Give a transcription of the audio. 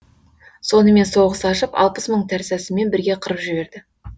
сонымен соғыс ашып алпыс мың тәрсасымен бірге қырып жіберді